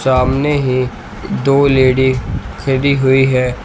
सामने एक दो लेडी खड़ी हुई है।